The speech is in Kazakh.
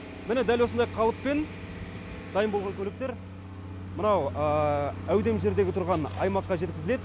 міне дәл осындай қалыппен дайын болған көліктер мынау әудемжердегі тұрған аймаққа жеткізіледі